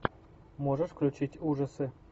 можешь включить ужасы